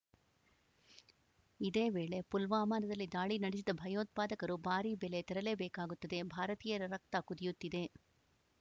ಇದೇ ವೇಳೆ ಪುಲ್ವಾಮಾದಲ್ಲಿ ದಾಳಿ ನಡೆಸಿದ ಭಯೋತ್ಪಾದಕರು ಭಾರಿ ಬೆಲೆ ತೆರಲೇ ಬೇಕಾಗುತ್ತದೆ ಭಾರತೀಯರ ರಕ್ತ ಕುದಿಯುತ್ತಿದೆ